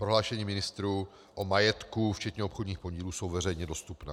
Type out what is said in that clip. Prohlášení ministrů o majetku včetně obchodních podílů jsou veřejně dostupná.